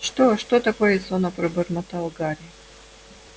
что что такое сонно пробормотал гарри